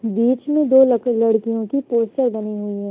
बीच में दो लक लड़कियों की पोस्टर बनी हुई है।